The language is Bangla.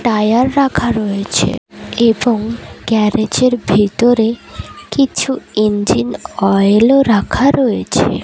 টায়ার রাখা রয়েছে এবং গ্যারেজ -এর ভেতরে কিছু ইঞ্জিন অয়েল -ও রাখা রয়েছে।